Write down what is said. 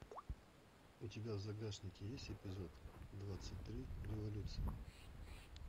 у тебя в загашнике есть эпизод двадцать три революция